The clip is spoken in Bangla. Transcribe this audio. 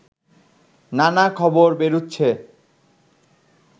নানা খবর বেরুচ্ছে